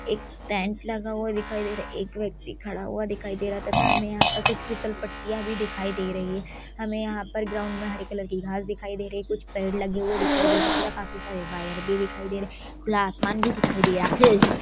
एक टेंट लगा हुआ दिखाई दे रहा है एक व्यक्ति खड़ा हुआ दिखाई दे रहा है तथा हमें यहाँं पर कुछ फिसलपट्टियां भी दिखाई दे रही है हमें यहाँं पर ग्राउंड में हरे कलर की घास दिखाई दे रही है कुछ पेड़ लगे हुए दिखाई दे रहे है तथा काफी सारे वायर भी दिखाई दे रहे खुला आसमान भी दिखाई दे रहा हैं।